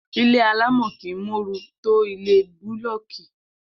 Ilé alámò̩ kìí móoru tó ilé búló̩ò̩kì